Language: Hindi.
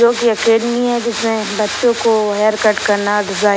जोकि एकेडमी है जिसमें बच्चों को हेयर कट करना --